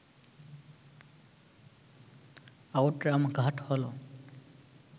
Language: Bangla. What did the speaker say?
আউটরাম ঘাট হল